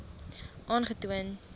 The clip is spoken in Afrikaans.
aangetoon